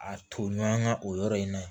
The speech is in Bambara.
A toɲɔgɔn ka o yɔrɔ in na